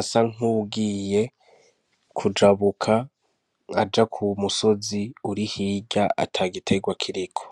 asa nkugiye kujabuka aja ku wu musozi uri hirya ata gitegwa kiriko.